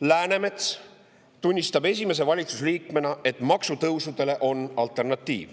Läänemets tunnistab esimese valitsusliikmena, et maksutõusudele on olemas alternatiiv,